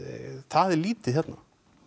það er lítið hérna